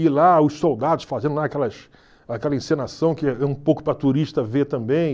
E lá os soldados fazendo lá aquelas aquela encenação que é um pouco para turista ver também.